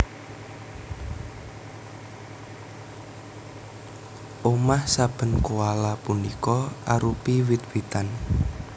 Omah saben koala punika arupi wit witan